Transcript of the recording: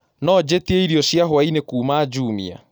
No njĩĩtĩeĩrĩo cĩa hwaĩnĩ kũũma jumia